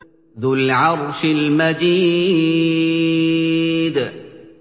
ذُو الْعَرْشِ الْمَجِيدُ